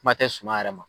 Kuma tɛ suma yɛrɛ ma